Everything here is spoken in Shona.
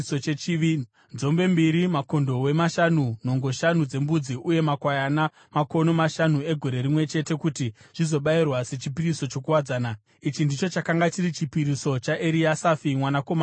nenzombe mbiri, makondobwe mashanu, nhongo shanu dzembudzi uye makwayana makono mashanu egore rimwe chete kuti zvizobayirwa sechipiriso chokuwadzana. Ichi ndicho chakanga chiri chipiriso chaEriasafi mwanakomana waDheueri.